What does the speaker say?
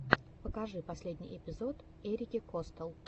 покажи последний эпизод эрики костелл